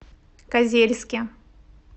козельске